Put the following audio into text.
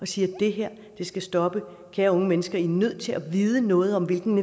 siger det her skal stoppe kære unge mennesker i er nødt til at vide noget om hvilken